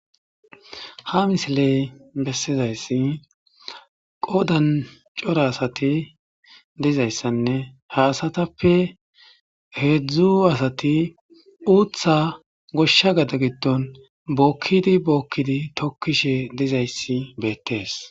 ha misiley bessizayssi qodan cora asati dizayssanne ha asatappe heedzdzu asati uutha goshsha gada giddon bookkidi bookkidi tokkishe dizayssi beettees